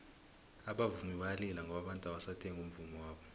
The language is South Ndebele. abavumi bayalila ngoba abantu abasathengi umvummo wabo